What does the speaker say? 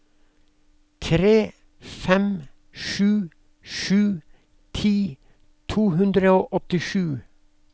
tre fem sju sju ti to hundre og åttisju